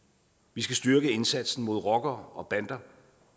vi skal styrke indsatsen mod rockere og bander